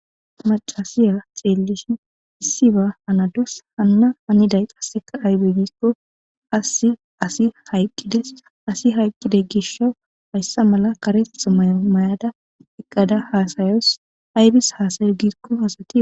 macasiya xeellishin issi ba hanadus hanna aniday qasseka aybe giikko asi asi hayqqides asi hayqqiday gisho hayssa mala kareth mayada eqqada haasayos aybis haasayo giikko asati